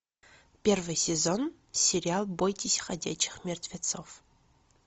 первый сезон сериал бойтесь ходячих мертвецов